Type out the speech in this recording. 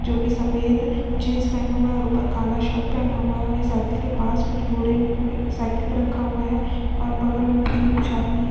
जो कि सफ़ेद जीन्स पहने हुआ है और ऊपर काला शर्ट पहना हुआ है और ये साइकिल के पास कुछ बोरे में साइकिल पे रखा हुआ है और बग़ल में देखिए कुछ आदमी हैं।